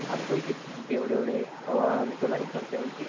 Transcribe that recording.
आज पैशे सांगते एवढे-एवढे. तव्हा मी तुला हे करते म्हणते.